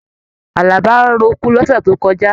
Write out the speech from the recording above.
Àlàbá roko l'ọsẹ tó kọjá.